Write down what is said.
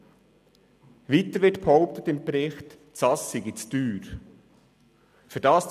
Des Weiteren wird im Bericht behauptet, es sei zu teuer.